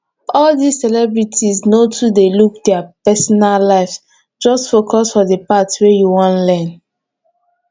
all dis celebrities no too dey look dia personal lives just focus for the part wey you wan learn